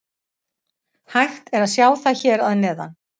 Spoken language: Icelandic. Hægt er að sjá það hér að neðan.